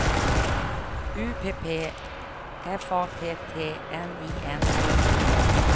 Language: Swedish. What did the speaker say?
U P P F A T T N I N G E N